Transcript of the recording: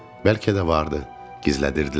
Bəlkə də vardı, gizlədirdilər.